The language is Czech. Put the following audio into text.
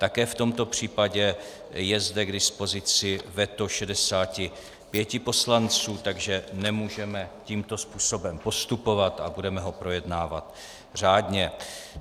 Také v tomto případě je zde k dispozici veto 65 poslanců, takže nemůžeme tímto způsobem postupovat a budeme ho projednávat řádně.